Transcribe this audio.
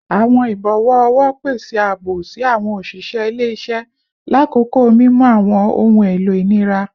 Awọn ibọwọ ọwọ pese aabo si awọn oṣiṣẹ ile-iṣẹ lakoko mimu awọn ohun elo inira